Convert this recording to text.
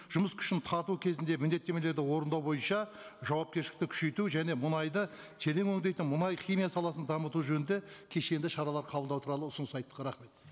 жұмыс күшін тарту кезінде міндеттемелерді орындау бойынша жауапкершілікті күшейту және мұнайды терең өндейтін мұнай химия саласын дамыту жөнінде кешенді шаралар қабылдау туралы ұсыныс айттық рахмет